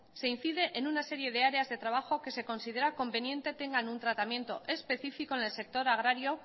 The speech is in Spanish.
se incide en una serie de áreas de trabajo que se considera conveniente tengan un tratamiento específico en el sector agrario